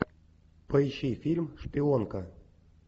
поищи фильм шпионка